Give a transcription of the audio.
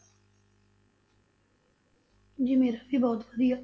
ਜੀ ਮੇਰਾ ਵੀ ਬਹੁਤ ਵਧੀਆ।